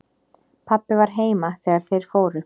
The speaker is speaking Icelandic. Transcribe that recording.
Pabbi var heima þegar þeir fóru.